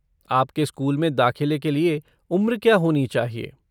आपके स्कूल में दाख़िले के लिए उम्र क्या होनी चाहिए?